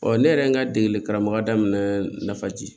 Ɔ ne yɛrɛ ye n ka degeli karamɔgɔ daminɛ nafa di